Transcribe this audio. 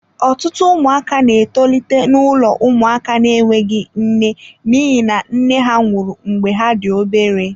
Ọtụtụ ụmụaka na-etolite n'ụlọ ụmụaka na-enweghị nne n'ihi na nne ha nwụrụ mgbe ha dị obere.